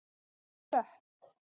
Klöpp